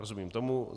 Rozumím tomu.